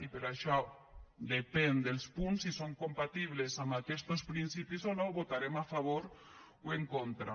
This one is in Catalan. i per això depèn dels punts si són compatibles amb aquestos principis o no hi votarem a favor o en contra